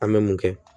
An bɛ mun kɛ